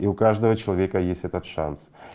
и у каждого человека есть этот шанс